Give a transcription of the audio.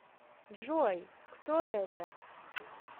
джой кто это